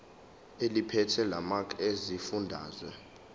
eliphethe lamarcl esifundazwe